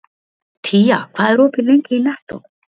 Tía, hvað er opið lengi í Nettó?